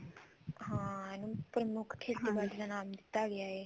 ਹਾਂ ਇਹਨੂੰ ਪ੍ਰ੍ਮੁੱਖ ਦਾ ਨਾਮ ਦਿੱਤਾ ਗਿਆ ਹੈ